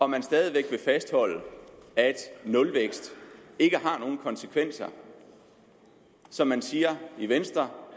man stadig væk vil fastholde at nulvækst ikke har nogen konsekvenser som man siger i venstre